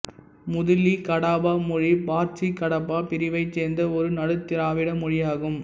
மூதிலி கடாபா மொழி பார்ஜிகடாபா பிரிவைச் சேர்ந்த ஒரு நடுத் திராவிட மொழியாகும்